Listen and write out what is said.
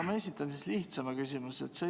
Ma esitan siis nüüd lihtsama küsimuse.